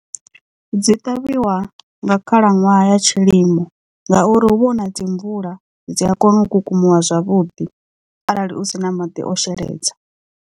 Dzi ṱavhiwa nga khalaṅwaha ya tshilimo ngauri hu vha hu na dzi mvula dzi a kona u kukumuwa zwavhuḓi arali u sina madi o sheledza.